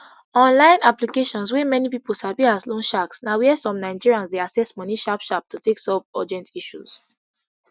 online applications wey many pipo sabi as loan sharks na wia some nigerians dey access money sharp sharp to take solve urgent issues